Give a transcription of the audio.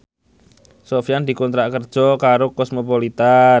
Sofyan dikontrak kerja karo Cosmopolitan